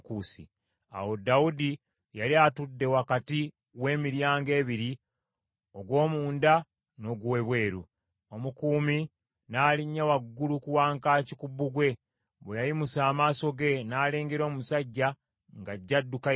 Awo Dawudi yali atudde wakati w’emiryango ebiri ogw’omunda n’ogw’ebweru, omukuumi n’alinnya waggulu ku wankaaki ku bbugwe. Bwe yayimusa amaaso ge n’alengera omusajja ng’ajja adduka yekka.